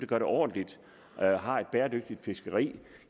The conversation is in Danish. gør det ordentligt og har et bæredygtigt fiskeri